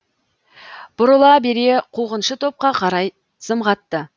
бұрыла бере қуғыншы топқа қарай зымғатты